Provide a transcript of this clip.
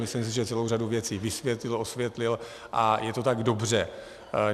Myslím si, že celou řadu věcí vysvětlil, osvětlil, a je to tak dobře.